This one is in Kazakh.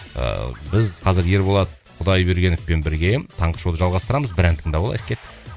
ыыы біз қазір ерболат құдайбергеновпен бірге таңғы шоуды жалғастырамыз бір ән тыңдап алайық кеттік